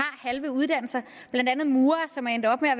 halve uddannelser blandt andet murere som er endt op med at